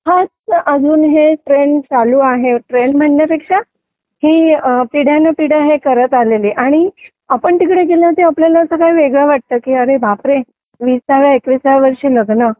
अजून ही ट्रेन चालू आहे ट्रेन म्हणण्यापेक्षा हे पिढ्याने पिढ्या करत आलेले आणि आपल्याला तसं काय बापरे विसाव्या आणि